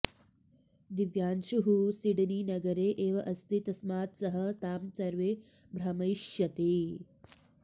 दिव्यांशुः सिडनीनगरे एव अस्ति तस्मात् सः तां सर्वे भ्रामयिष्यति